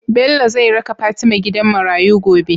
Bello zai raka fatima gidan marayu gobe?